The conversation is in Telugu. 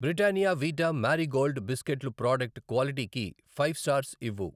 బ్రిటానియా వీటా మారీ గోల్డ్ బిస్కెట్లు ప్రాడక్ట్ క్వాలిటీకి ఫైవ్ స్టార్స్ ఇవ్వు.